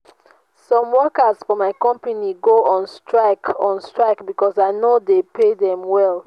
some workers for my company go on strike on strike because i no dey pay dem well